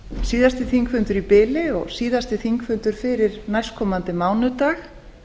síðasti þingfundur í bili og síðasti þingfundur fyrir næstkomandi mánudag